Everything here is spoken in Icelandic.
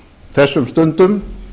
þessum stundum